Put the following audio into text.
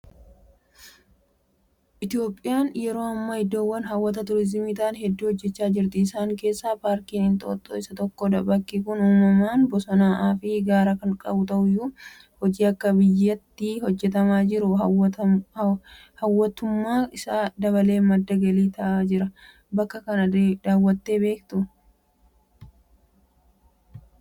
Itoophiyaan yeroo ammaa iddoowwan hawwata turiizimii ta'an hedduu hojjechaa jirti. Isaan keessaa Paarkiin Inxooxxoo isa tokkodha. Bakki kun uumamaan Bosonaa'aafi Gaara kan qabu ta'uyyuu; Hojii akka biyyaatti hojjetamaa jiruun hawwattummaan isaa dabalee madda galii ta'aa jira. Bakka kana daawwattanii beektuu?